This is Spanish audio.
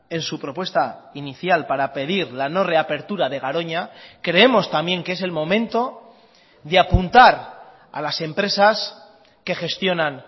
en su propuesta inicial para pedir la no reapertura de garoña creemos también que es el momento de apuntar a las empresas que gestionan